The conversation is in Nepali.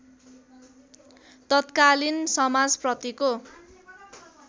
तत्कालीन समाजप्रतिको